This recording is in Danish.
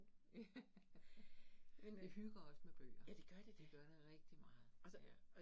Ja, vi hygger os med bøger. Det gør det rigtig meget, ja